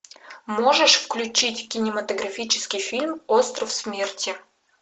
можешь включить кинематографический фильм остров смерти